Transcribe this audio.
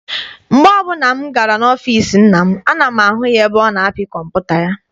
Mgbe ọbụla m gara n'ọfịịsi nna m, ana m ahụ ya ebe ọ na-apị kọmputa ya.